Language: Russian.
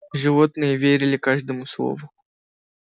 животные верили каждому слову